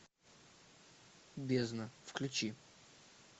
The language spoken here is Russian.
бездна включи